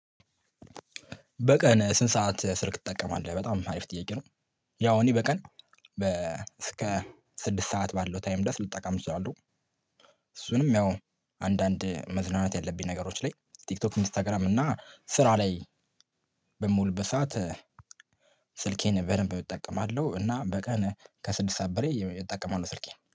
በቀን ስንት ሰዓት ስልክ ትጠቀማለህ በጣም አሪፍ ጥያቄ ነው? ያው እኔ በቀን በ እስከ ስድስት ሰዓት ባለው ታይም ድረስ ልጠቀም እችላለው። እሱንም ያው አንዳንድ መዝናናት ያለብኝ ነገሮች ላይ ቲክቶክ ኢንስታግራም እና ስራ ላይ። በምውልበት በሰአት ስልኬን በደንብ እጠቀማለሁ እና በቀን ከስድስት ሰዓት በላይ እጠቀማለው ስልኬን